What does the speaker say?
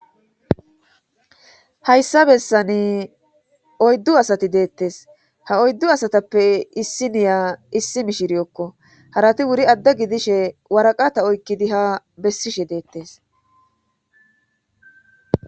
hayssa bessani oyddu asati deettes ha oyddu asatappe issi niya issi mishiriyokko harati wuri adda gidishe waraqata oykkidi ha bessishe deettes